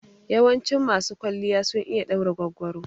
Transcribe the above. Yawancin masu kwalliya sun iya ɗaura goggoro.